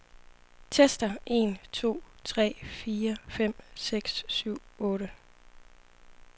Tester en to tre fire fem seks syv otte.